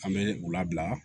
An bɛ u labila